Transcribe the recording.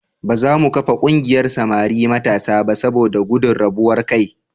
Ba za mu kafa ƙungiyar samari matasa ba saboda gudun rabuwar kai.